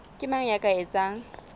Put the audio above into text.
ke mang ya ka etsang